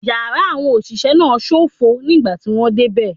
Yàrá àwọn òṣìṣẹ́ náà ṣófo nígbà tí mo dé bẹ̀.